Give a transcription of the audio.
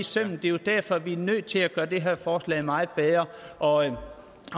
sømmet det er jo derfor at vi er nødt til at gøre det her forslag meget bedre og